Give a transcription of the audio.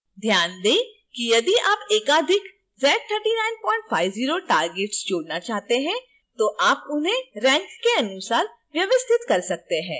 ध्यान दें कि यदि आप एकाधिक z3950 targets जोड़ना चाहते हैं तो आप उन्हें rank के अनुसार व्यवस्थित कर सकते हैं